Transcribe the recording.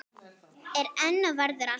Er enn og verður alltaf.